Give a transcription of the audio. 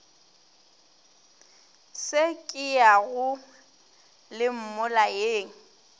se ke yang le mmolayeng